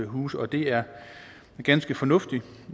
huse og det er ganske fornuftigt